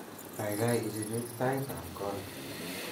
Kaikai ichuch taitab kot